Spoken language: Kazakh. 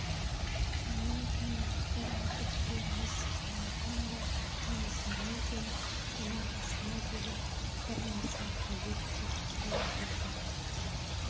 сонан кейін бір әрдікте миссис наракомбо немесе мигэн бұның қасына келіп бір нәрсе қажет деп сұрап тұрды